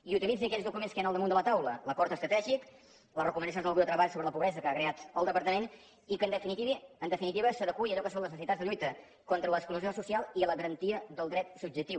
i utilitzi aquells documents que hi han al damunt de la taula l’acord estratègic les recomanacions del grup de treball sobre la pobresa que ha creat el departament i que en definitiva s’adeqüi a allò que són les necessitats de lluita contra l’exclusió social i la garantia del dret subjectiu